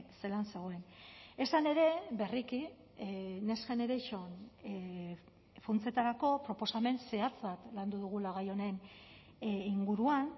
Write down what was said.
zelan zegoen esan ere berriki next generation funtsetarako proposamen zehatz bat landu dugula gai honen inguruan